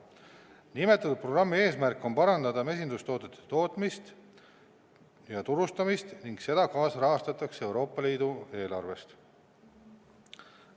Nimetatud programmi eesmärk on parandada mesindustoodete tootmist ja turustamist ning seda kaasrahastatakse Euroopa Liidu eelarvest.